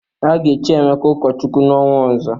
A ga-echi Emeka ụkọchukwu n'ọnwa ọzọ.